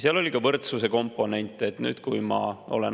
Seal oli ka võrdsuse komponent.